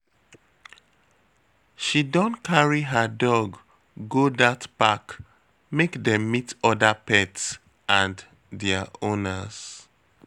She don carry her dog go dat park make dem meet oda pet and their owners.